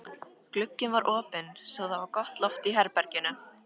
Glugginn var opinn svo það var gott loft í herberginu.